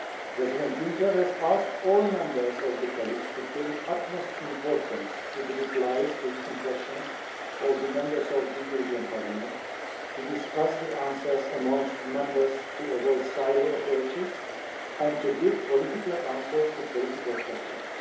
President Juncker has asked all Members of the College to pay the utmost importance to the replies to written questions of the Members of the European Parliament, to discuss the answers amongst Members to avoid silo approaches, and to give political answers to political questions.